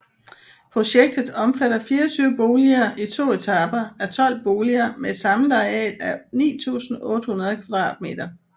Projektet omfatter 24 boliger i to etaper af 12 boliger med et samlet areal af 9800 kvadratmeter